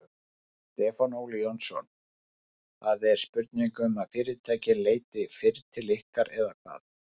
Stefán Óli Jónsson: Það er spurning um að fyrirtækin leiti fyrr til ykkar eða hvað?